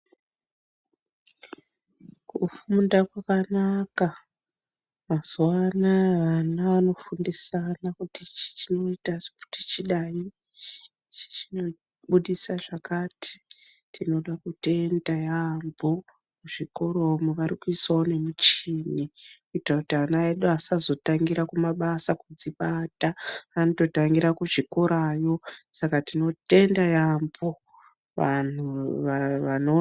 Kufunda kwakanaka mazuvano aya vana vanofundisana kiti ichi chinoita kuti chidai, kuti ichi chinobudisa zvakati. Tinoda kutenda yaambo kuzvikoro umu varikuisawo nemichini kuita kuti ana asazotangira kumabasa kudzibata. Anototangira kuzvikorayo, saka tinotenda yaambo vanhu vano...